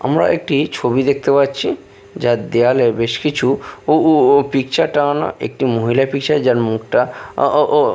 আমরা একটি ছবি দেখতে পাচ্ছি যার দেওয়ালে বেশ কিছু উ উ উ পিকচার টাঙানো একটি মহিলা পিকচার যার মুখটা ও ও ও --